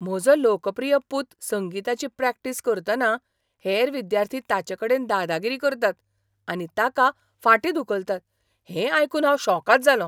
म्हजो लोकप्रिय पूत संगीताची प्रॅक्टीस करतना हेर विद्यार्थी ताचेकडेन दादागिरी करतात आनी ताका फाटीं धुकलतात हें आयकून हांव शॉकाद जालों.